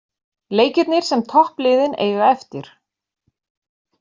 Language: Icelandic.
Leikirnir sem toppliðin eiga eftir